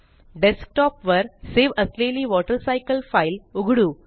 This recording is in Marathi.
डेस्कटॉंप वर सेव असलेली वॉटरसायकल फ़ाइल उघडू